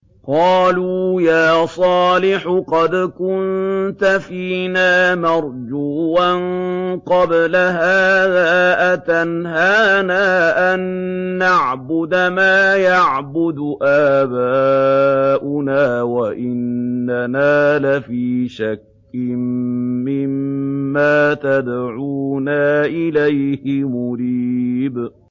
قَالُوا يَا صَالِحُ قَدْ كُنتَ فِينَا مَرْجُوًّا قَبْلَ هَٰذَا ۖ أَتَنْهَانَا أَن نَّعْبُدَ مَا يَعْبُدُ آبَاؤُنَا وَإِنَّنَا لَفِي شَكٍّ مِّمَّا تَدْعُونَا إِلَيْهِ مُرِيبٍ